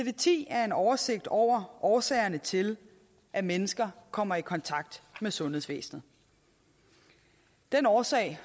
ti er en oversigt over årsagerne til at mennesker kommer i kontakt med sundhedsvæsenet den årsag